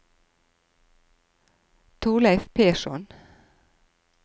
Torleiv Persson